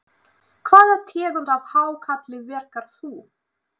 Hvaða tegund af hákarli verkar þú?